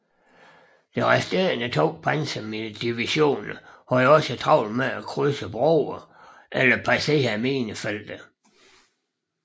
De resterende to pansrede divisioner havde også travlt med at krydse broerne eller passere minefelterne